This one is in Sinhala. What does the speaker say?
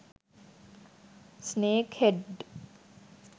ස්නේක් හෙඩ්ට